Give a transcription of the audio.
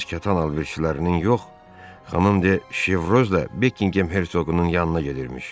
Arvadınız Katan Alvirçələrin yox, xanım De Şevrozla Bekinqem Hersoqunun yanına gedirmiş.